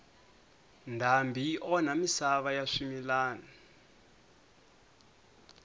ndhambi yi onha misava ya swimilana